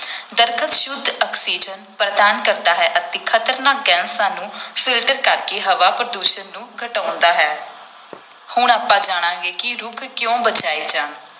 ਦਰੱਖਤ ਸ਼ੁੱਧ ਆਕਸੀਜਨ ਪ੍ਰਦਾਨ ਕਰਦਾ ਹੈ ਅਤੇ ਖਤਰਨਾਕ ਗੈਸਾਂ ਨੂੰ filter ਕਰਕੇ ਹਵਾ ਪ੍ਰਦੂਸ਼ਣ ਨੂੰ ਘਟਾਉਂਦਾ ਹੈ ਹੁਣ ਆਪਾਂ ਜਾਣਾਂਗਾ ਕਿ ਰੁੱਖ ਕਿਉੁਂ ਬਚਾਏ ਜਾਣ।